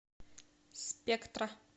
спектра